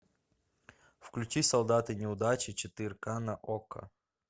включи солдаты неудачи четыре ка на окко